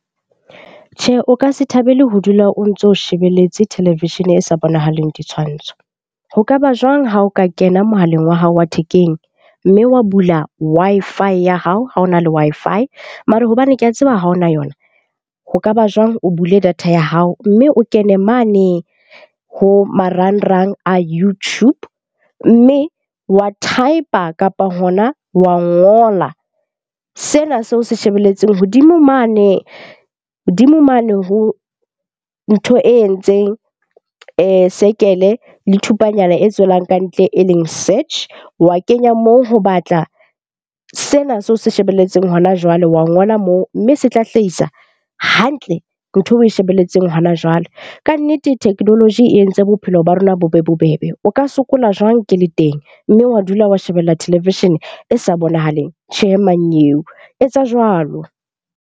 Tjhe, o ka se thabele ho dula o ntso shebeletse televishene e sa bonahaleng ditshwantsho. Ho kaba jwang ha o ka kena mohaleng wa hao wa thekeng, mme wa bula Wi-Fi ya hao ha o na le Wi-Fi. Mare hobane ke a tseba ha ona yona. Ho kaba jwang o bule data ya hao, mme o kene mane ho marangrang a YouTube. Mme wa type-a kapa hona wa ngola sena seo se shebelletseng hodimo mane, hodimo mane ho ntho e entseng circle le thupanyana e tswelang kantle e leng search. Wa kenya moo ho batla sena seo se shebelletseng hona jwale, wa ngola moo. Mme se tla hlahisa hantle ntho eo oe shebelletseng hona jwale. Kannete technology e entse bophelo ba rona bo be bobebe. O ka sokola jwang ke le teng? Mme wa dula wa shebella televishene e sa bonahaleng. Tjhe, mmanyeo etsa jwalo.